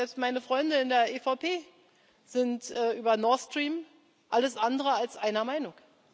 Ich weiß, selbst meine Freunde in der EVP sind über Nord Stream alles andere als einer Meinung.